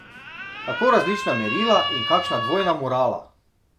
Kako različna merila in kakšna dvojna morala!